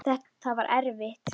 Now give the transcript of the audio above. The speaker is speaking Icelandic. Það var erfitt.